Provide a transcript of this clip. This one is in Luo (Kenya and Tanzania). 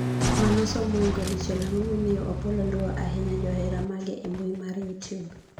manosom moingo dichiel ang'o momiyo Opollo luwo ahinya johera mage e mbui mar youtube?